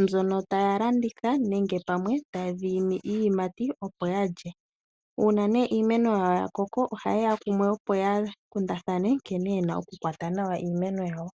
mbyono taya landitha nenge pamwe tadhi imi iiyimati opo yalye. Uuuna ne iimeno yawo yakoko oha ye ya kumwe opo ya kundathana nkene yena oku kwata nawa iimeno yawo.